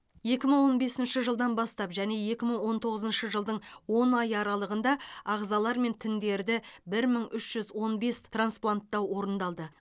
екі мың он бесінші жылдан бастап және екі мың он тоғызыншы жылдың он айы аралығында ағзалар мен тіндерді бір мың үш жүз он бес транспланттау орындалды